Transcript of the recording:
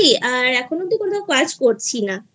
আর এখনও অবধি কোথাও কাজ করছি নাI